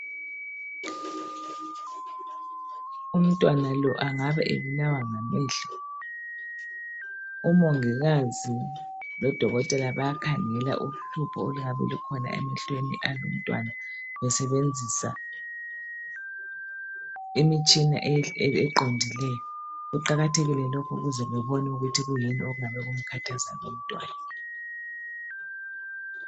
Umntwana lo angabe ebulawa ngamehlo, umongikazi lo dokotela bayakhangela uhlupho oluyabe lukhona emehlweni alumntwana besebenzisa imitshina eqondileyo, kuqakathekile lokhu ukuze bebone ukuthi kuyini okumkhathaza lumntwana.